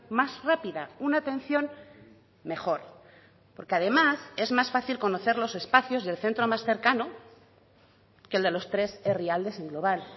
más rápida una atención mejor porque además es más fácil conocer los espacios del centro más cercano que el de los tres herrialdes en global